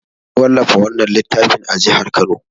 An wallafa wannan littafin a jihar Kano.